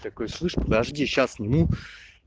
такой слышь подожди сейчас сниму